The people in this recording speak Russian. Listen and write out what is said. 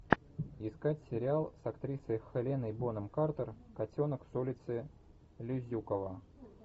искать сериал с актрисой хеленой бонем картер котенок с улицы лизюково